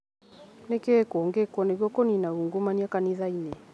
Nĩkĩĩ kĩngĩkwo nĩguo kũnina ungumania kanitha-inĩ